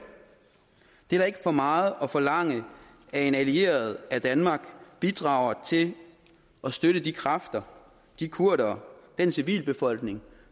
det er da ikke for meget at forlange af en allieret at danmark bidrager til at støtte de kræfter de kurdere den civilbefolkning